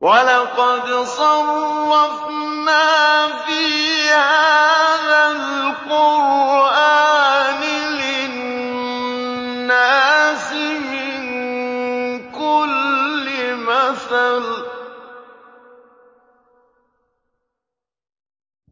وَلَقَدْ صَرَّفْنَا فِي هَٰذَا الْقُرْآنِ لِلنَّاسِ مِن كُلِّ مَثَلٍ ۚ